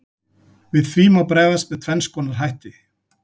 Við því má bregðast með tvenns konar hætti.